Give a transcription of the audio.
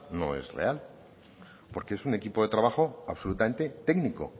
no es real porque es un equipo de trabajo absolutamente técnico